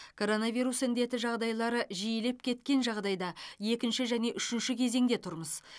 коронавирус індеті жағдайлары жиілеп кеткен жағдайда екінші және үшінші кезеңде тұрмыз